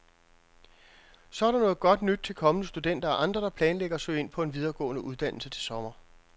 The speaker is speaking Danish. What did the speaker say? Så er der godt nyt til kommende studenter og andre, der planlægger at søge ind på en videregående uddannelse til sommer.